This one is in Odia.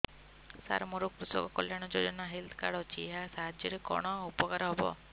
ସାର ମୋର କୃଷକ କଲ୍ୟାଣ ଯୋଜନା ହେଲ୍ଥ କାର୍ଡ ଅଛି ଏହା ସାହାଯ୍ୟ ରେ କଣ ଉପକାର ହବ